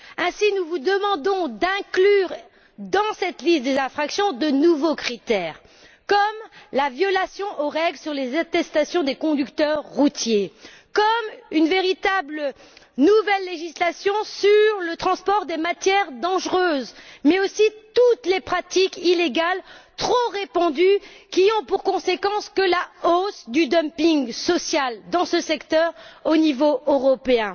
Aussi, nous vous demandons d'inclure dans cette liste des infractions de nouveaux critères tels que la violation des règles sur les attestations des conducteurs routiers, en adoptant une véritable nouvelle législation sur le transport des matières dangereuses, mais aussi toutes les pratiques illégales trop répandues, qui ont pour conséquence une hausse du dumping social dans ce secteur au niveau européen.